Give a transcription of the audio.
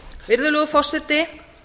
virðulegur forseti